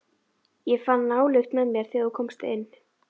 Ég fann nálykt með þér, þegar þú komst inn.